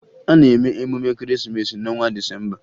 A na-eme emume Ekeresimeesi n'ọnwa Disemba